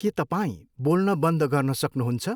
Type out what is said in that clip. के तपाईँ बोल्न बन्द गर्न सक्नुुहुन्छ?